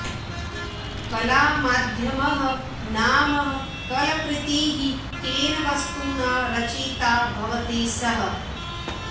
कला माध्यमः नाम कलकृतिः केन वस्तुना रचिता भवति सः